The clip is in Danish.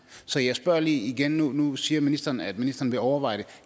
så jeg spørger lige igen nu nu siger ministeren at ministeren vil overveje det